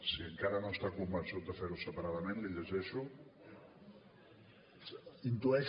si encara no està convençut de fer ho separadament l’hi llegeixo no no coincideix